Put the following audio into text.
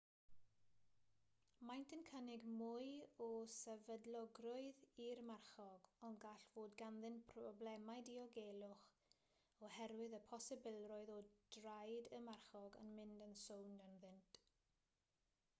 maent yn cynnig mwy o sefydlogrwydd i'r marchog ond gall fod ganddynt broblemau diogelwch oherwydd y posibilrwydd o draed y marchog yn mynd yn sownd ynddynt